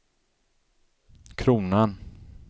kronan